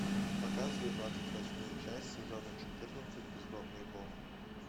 показывай двадцать восьмую часть сезона четырнадцать бездомный бог